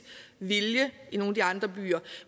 vilje i nogle af de andre byer